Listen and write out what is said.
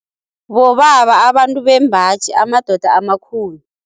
Bobaba abantu bembaji, amadoda amakhulu.